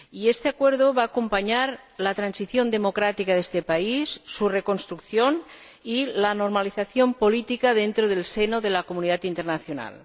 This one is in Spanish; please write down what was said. Este acuerdo va a acompañar la transición democrática de este país, su reconstrucción y la normalización política dentro del seno de la comunidad internacional.